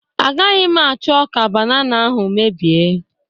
Agaghị m achọ ka banana ahụ mebie